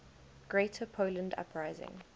greater poland uprising